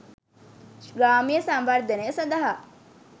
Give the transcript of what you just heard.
ග්‍රාමීය සංවර්ධනය සඳහා